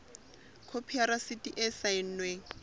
khopi ya rasiti e saennweng